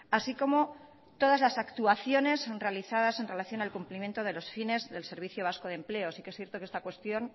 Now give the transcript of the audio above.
así como todas las actuaciones realizadas en relación al cumplimiento de los fines del servicio vasco de empleo sí que es cierto que esta cuestión